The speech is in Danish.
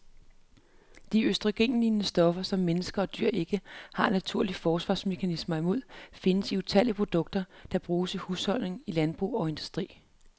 De østrogenlignende stoffer, som mennesker og dyr ikke har naturlige forsvarsmekanismer imod, findes i utallige produkter, der bruges i husholdninger, i landbrug og industri.